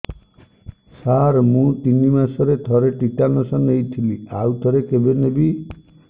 ସାର ମୁଁ ତିନି ମାସରେ ଥରେ ଟିଟାନସ ନେଇଥିଲି ଆଉ ଥରେ କେବେ ନେବି